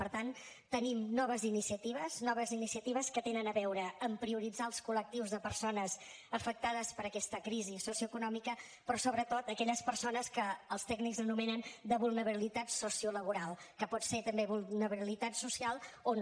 per tant tenim noves iniciatives noves iniciatives que tenen a veure amb prioritzar els col·lectius de persones afectades per aquesta crisi socioeconòmica però sobretot aquelles persones que els tècnics anomenen de vulnerabilitat sociolaboral que pot ser també vulnerabilitat social o no